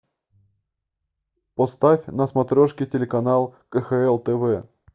поставь на смотрешке телеканал кхл тв